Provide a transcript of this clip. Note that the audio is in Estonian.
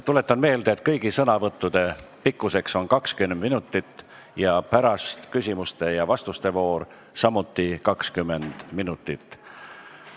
Tuletan meelde, et kõigi sõnavõttude pikkus on 20 minutit ja pärast järgneb küsimuste ja vastuste voor samuti 20 minutit.